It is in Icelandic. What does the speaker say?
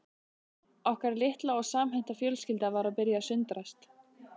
Okkar litla og samhenta fjölskylda var að byrja að sundrast